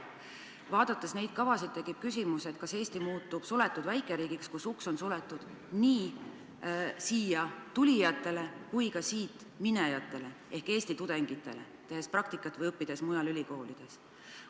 Vaadates neid kavasid, tekib küsimus, kas Eesti muutub suletud väikeriigiks, kus uks on suletud nii siia tulijatele kui ka siit minejatele ehk Eesti tudengitele, kes soovivad õppida või praktikat teha mujal ülikoolides.